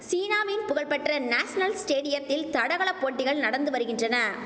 சீனாவின் புகழ்பெற்ற நேசனல் ஸ்டேடியத்தில் தடகள போட்டிகள் நடந்து வருகின்றன